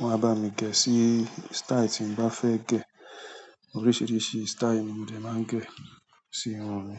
wọ́n á bá mi gẹ̀ ẹ́ sí style tí mo bá fẹ́ gẹ̀. Oríṣiríṣi style ni mo dẹ̀ máa ń gẹ̀ sí irun mi.